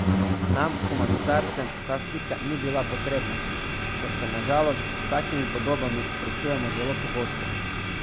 Nam humanitarcem ta slika ni bila potrebna, ker se na žalost s takimi podobami srečujemo zelo pogosto.